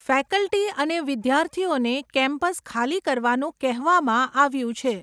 Faculty અને વિદ્યાર્થીઓને campus ખાલી કરવાનું કહેવામાં આવ્યું છે.